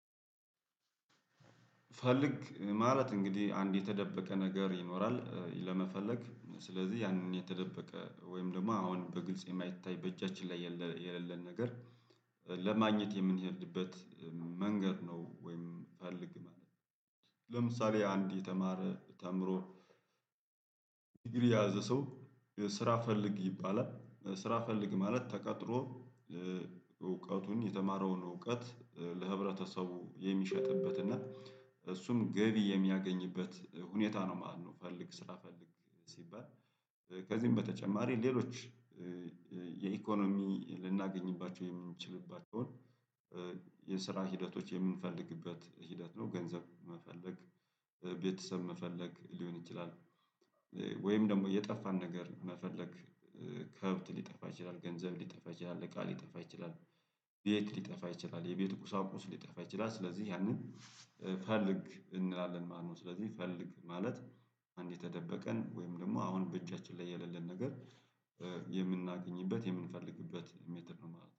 ፈልግ ማለት እንግዲህ አንድ የተደበቀ ነገር ይኖራል ለመፈለግ ስለዚህ ያንን የተደበቀ ወይም ደግሞ አሁን በግልጽ የማይታይ በእጃችን ላይ የሌለን ነገር ለማግኘት የምንሄድበት መንገድ ነው ወይም ፈልግ ማለት ነው። ለምሳሌ አንድ የተማረ ተምሮ ዲግሪ የያዘ ሰው ስራ ፈልግ ይባላል ስራ ፈልግ ማለት ተቀጥሮ እውቀቱን የተማረውን እውቀት ለህብረተሰቡ የሚሸጥበት እና እሱም ገቢ የሚያገኝበት ሁኔታ ነው ማለት ነው። ፈልግ ስራ ፈልግ ሲባል ከዚህም በተጨማሪ ሌሎች የኢኮኖሚ ልናገኝባቸው የምንችልባቸውን የስራ ሂደቶች የምንፈልግበት ሂደት ነው ገንዘብ መፈለግ ቤተሰብ መፈለግ ሊሆን ይችላል። ወይም ደግሞ የጠፋን ነገር መፈለግ ከብት ሊጠፋ ይችላል ገንዘብ ሊጠፋ ይችላል እቃ ሊጠፋ ይችላል ቤት ሊጠፋ ይችላል የቤት ቁሳቁስ ሊጠፋ ይችላል ስለዚህ ያንን ፈልግ እንላለን ማለት ነው። ስለዚህ ፈልግ ማለት አንድ የተደበቀን ወይም ደግሞ አሁን በእጃችን ላይ የሌለን ነገር የምናገኝበት የምንፈልግበት ሜትድ ነው ማለት ነው